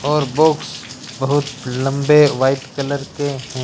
और बॉक्स बहोत लंबे व्हाइट कलर के--